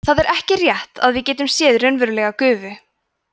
það er ekki rétt að við getum séð raunverulega gufu